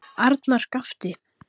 Arnar gapti.